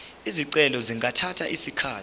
izicelo zingathatha isikhathi